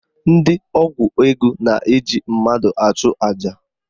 Ndị ọgwụ ego na-eji mmadụ achụ aja